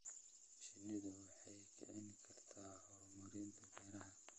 Shinnidu waxay kicin kartaa horumarinta beeraha.